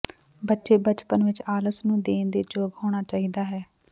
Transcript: ਬੱਚੇ ਬਚਪਨ ਵਿਚ ਆਲਸ ਨੂੰ ਦੇਣ ਦੇ ਯੋਗ ਹੋਣਾ ਚਾਹੀਦਾ ਹੈ